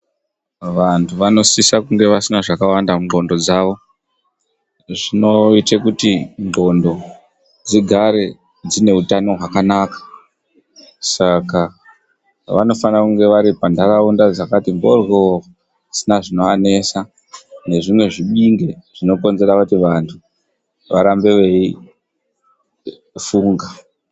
Vantu vanosisa kunge vasina zvakawanda mundxondo dzavo. Zvinoita kuti ndxondo dzigare dzine utano hwakanaka. Saka vanofana kunge vari panharaunda dzakati mhoryo dzisina zvinoanesa nezvimwe zvibinge zvinokonzera kuti vantu varambe veifunga.